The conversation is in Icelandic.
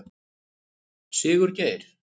Sigurgeir